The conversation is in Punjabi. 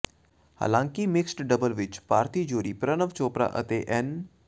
ਹਾਲਾਂਕਿ ਮਿਕਸਡ ਡਬਲਜ਼ ਵਿਚ ਭਾਰਤੀ ਜੋੜੀ ਪ੍ਰਣਵ ਚੋਪੜਾ ਤੇ ਐੱਨ